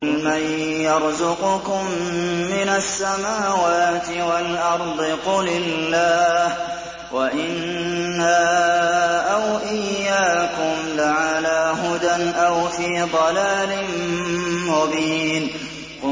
۞ قُلْ مَن يَرْزُقُكُم مِّنَ السَّمَاوَاتِ وَالْأَرْضِ ۖ قُلِ اللَّهُ ۖ وَإِنَّا أَوْ إِيَّاكُمْ لَعَلَىٰ هُدًى أَوْ فِي ضَلَالٍ مُّبِينٍ